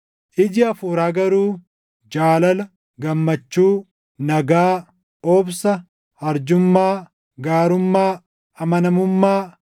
Iji Hafuuraa garuu jaalala, gammachuu, nagaa, obsa, arjummaa, gaarummaa, amanamummaa,